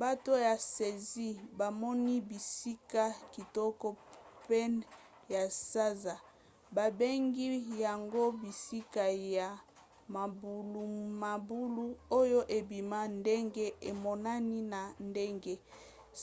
bato ya siansi bamoni bisika kitoko pene ya sanza babengi yango bisika ya mabulumabulu oyo ebima ndenge emonani na ndenge